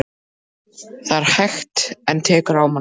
Það er hægt. en tekur á mann.